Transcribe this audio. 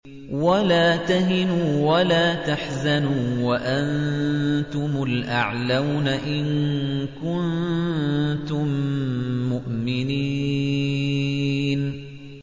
وَلَا تَهِنُوا وَلَا تَحْزَنُوا وَأَنتُمُ الْأَعْلَوْنَ إِن كُنتُم مُّؤْمِنِينَ